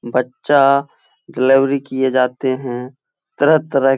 बच्चा डिलीवरी किये जाते हैं। तरह-तरह --